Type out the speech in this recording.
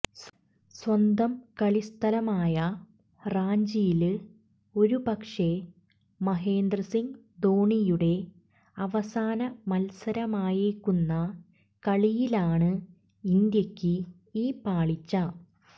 സ്വന്തം കളിസ്ഥലമായ റാഞ്ചിയില് ഒരുപക്ഷേ മഹേന്ദ്രസിംഗ് ധോണിയുടെ അവസാന മത്സരമായേക്കുന്ന കളിയിലാണ് ഇന്ത്യയ്ക്ക് ഈ പാളിച്ച